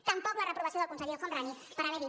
tampoc la reprovació del conseller el homrani per haver dit